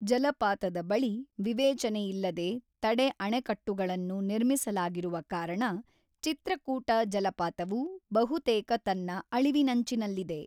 ಜಲಪಾತದ ಬಳಿ ವಿವೇಚನೆಯಿಲ್ಲದೆ ತಡೆ-ಅಣೆಕಟ್ಟೆಗಳನ್ನು ನಿರ್ಮಿಸಲಾಗಿರುವ ಕಾರಣ ಚಿತ್ರಕೂಟ ಜಲಪಾತವು ಬಹುತೇಕ ತನ್ನ ಅಳಿವಿನಂಚಿನಲ್ಲಿದೆ.